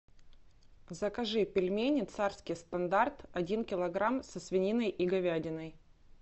закажи пельмени царский стандарт один килограмм со свининой и говядиной